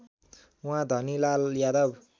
उहाँ धनीलाल यादव